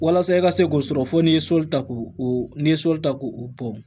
Walasa i ka se k'o sɔrɔ fo n'i ye soli ta k'o o n'i ye sɔli ta k'o o bɔn